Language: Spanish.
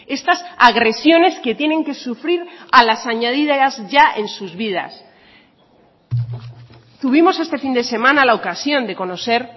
estas agresiones que tienen que sufrir a las añadidas ya en sus vidas tuvimos este fin de semana la ocasión de conocer